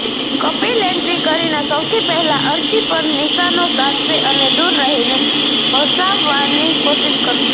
Kapil entry કરીને સૌથી પહેલા અર્શી પર નિશાનો સાધશે અને દૂર રહીને હસાવવાની કોશિશ કરશે